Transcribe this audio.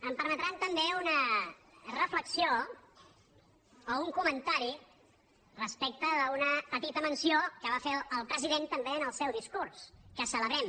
em permetran també una reflexió o un comentari respecte d’una petita menció que va fer el president també en el seu discurs que celebrem